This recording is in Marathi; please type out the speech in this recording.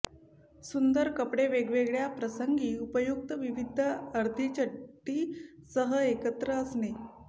सुंदर कपडे वेगवेगळ्या प्रसंगी उपयुक्त विविध अर्धी चड्डी सह एकत्र असणे